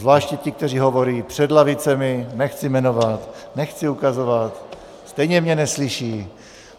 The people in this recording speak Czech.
Zvláště ti, kteří hovoří před lavicemi, nechci jmenovat, nechci ukazovat, stejně mě neslyší.